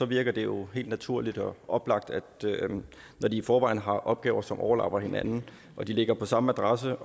virker det jo helt naturligt og oplagt at når de i forvejen har opgaver som overlapper hinanden og de ligger på samme adresse